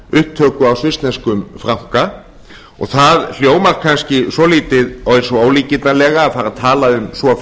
upptöku á svissneskum franka og það hljómar kannski svolítið eins og ólíkindalega að fara að tala um svo